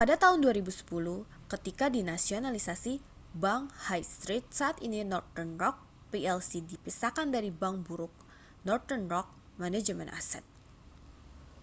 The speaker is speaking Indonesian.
pada tahun 2010 ketika dinasionalisasi bank high street saat ini northern rock plc dipisahkan dari 'bank buruk' northern rock manajemen aset